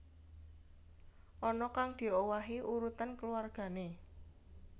Ana kang diowahi urutan keluwargané